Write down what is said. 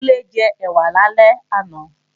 Kúnlé jẹ ẹ̀wà lálẹ́ àná